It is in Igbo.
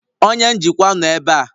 Onye njikwa nọ ebe a?